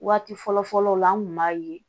Waati fɔlɔ fɔlɔw la an tun b'a ye